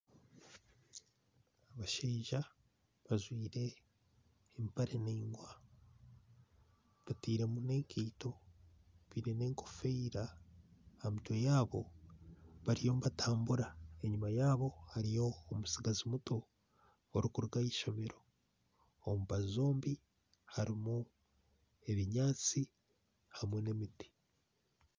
Omushaija ajwaire empare naingwa atairemu nenkaito ajwaire n'enkofiira aha mutwe yaabo bariyo nibatambura enyuma yaabo hariyo omutsigazi muto orikuruga ahaishomero omu mbaju zombi harimu ebinyatsi hamwe n'emiti